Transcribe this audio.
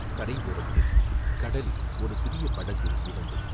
கரை ஓரத்தில் கடலில் ஒரு சிறிய படகு மிதந்தது.